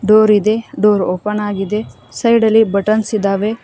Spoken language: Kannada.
ಡೋರ್ ಇದೆ ಡೋರ್ ಓಪನ್ ಆಗಿದೆ ಸೈಡಲ್ಲಿ ಬಟನ್ಸ್ ಇದಾವೆ.